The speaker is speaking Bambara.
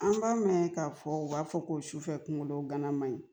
An b'a mɛn k'a fɔ u b'a fɔ ko sufɛ kunkolo gana manɲi